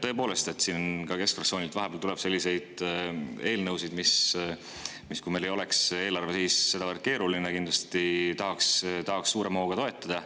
Tõepoolest, keskfraktsioonilt tuleb vahepeal selliseid eelnõusid, mida siis, kui meil ei oleks eelarve sedavõrd keerulises, kindlasti tahaks suurema hooga toetada.